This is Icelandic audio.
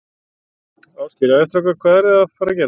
Ásgeir: Jæja, strákar, hvað eruð þið að fara að gera?